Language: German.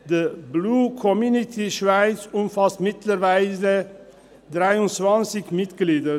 Die Blue Community Schweiz umfasst mittlerweile 23 Mitglieder.